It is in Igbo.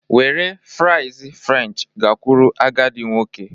Were fries french gakwuru agadi nwoke